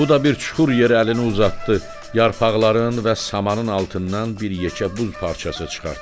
Bu da bir çuxur yer əlini uzatdı, yarpaqların və samanın altından bir yekə buz parçası çıxartdı.